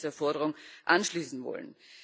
Ich würde mich dieser Forderung anschließen wollen.